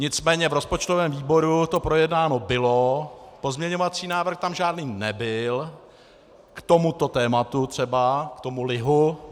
Nicméně v rozpočtovém výboru to projednáno bylo, pozměňovací návrh tam žádný nebyl k tomuto tématu třeba, k tomu lihu.